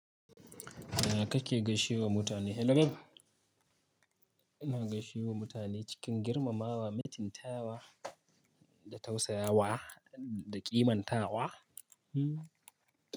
Ya kake gaishe wa mutane? Elirab. Ina gaishe wa mutane cikin girmamawa, mitinta wa da tausayawa da ƙimanta wa. Hmm.